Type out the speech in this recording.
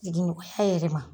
Jigin hɛɛrɛma